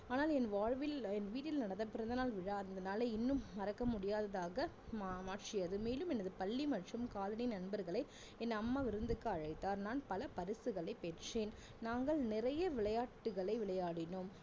ஆனால் என் வாழ்வில் என் வீட்டில் நடந்த பிறந்தநாள் விழா அந்த நாளை இன்னும் மறக்க முடியாததாக மா~மாற்றியது மேலும் எனது பள்ளி மற்றும் colony நண்பர்களை என் அம்மா விருந்துக்கு அழைத்தார் நான் பல பரிசுகளை பெற்றேன் நாங்கள் நிறைய விளையாட்டுக்களை விளையாடினோம்